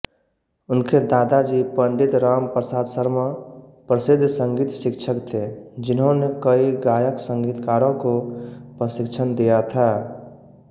उनके दादाजी पण्डित रामप्रसाद शर्मा प्रसिद्ध संगीतशिक्षक थे जिन्होंने कई गायकसंगीतकारों को प्रशिक्षण दिया था